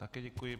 Také děkuji.